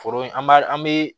Foro in an b'a an bɛ